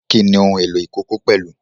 Kí ni ohun èlò ìkókó pẹ̀lú?